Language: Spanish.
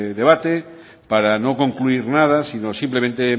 debate para no concluir nada sino simplemente